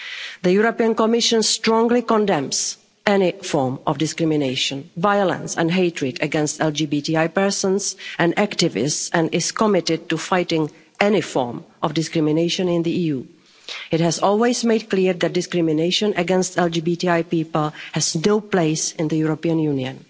The Commission strongly condemns any form of discrimination, violence and hatred against LGBTI people and activists and is committed to fighting any form of discrimination in the EU. It has always made clear that discrimination against LGBTI people has no place in the European